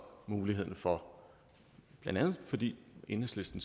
muligheden for blandt andet fordi enhedslisten